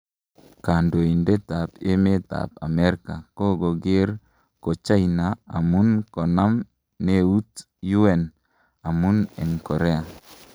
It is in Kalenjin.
Kaandoitet ap emet ap amerika kokoger ko China amun konam neut UN amun eng korea